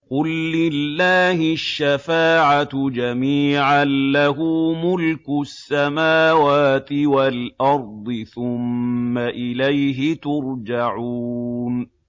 قُل لِّلَّهِ الشَّفَاعَةُ جَمِيعًا ۖ لَّهُ مُلْكُ السَّمَاوَاتِ وَالْأَرْضِ ۖ ثُمَّ إِلَيْهِ تُرْجَعُونَ